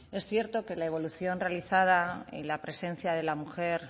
es cierto que la evolución realizada y la presencia de la mujer